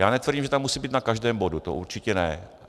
Já netvrdím, že tam musí být na každém bodu, to určitě ne.